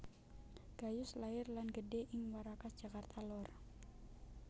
Gayus lair lan gedhe ing Warakas Jakarta lor